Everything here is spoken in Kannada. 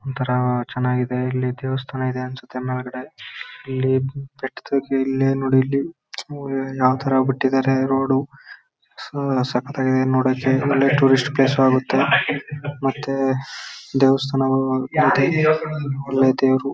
ಒಂತರ ಚೆನ್ನಾಗಿದೆ ಇಲ್ಲಿ ದೇವಸ್ಥಾನ ಇದೆ ಅನ್ಸತ್ತೆ ಮೇಲ್ಗಡೆ ಇಲ್ಲಿ ಬೆಟ್ ತುದಿಯಲ್ಲಿ ನೋಡ್ ಇಲ್ಲಿ ಯಾವ್ ತರಾ ಬಿಟ್ಟಿದಾರೆ ರೋಡು ಸ್ ಸಖತ್ತಾಗಿದೆ ನೋಡಕ್ಕೆ ಒಳ್ಳೆ ಟೂರಿಸ್ಟ್ ಪ್ಲೇಸ್ ಆಗತ್ತೆ. ಮತ್ತೆ ದೇವಸ್ಥಾನ ಅಲ್ಲೇ ದೇವ್ರು.